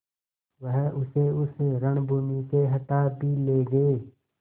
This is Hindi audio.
वह उसे उस रणभूमि से हटा भी ले गये